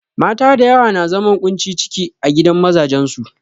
Mata da yawa na zaman ƙunci ciki a gidan mazajen su.